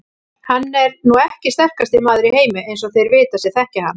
Hann er nú ekki sterkasti maður í heimi eins og þeir vita sem þekkja hann.